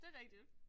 Det rigtigt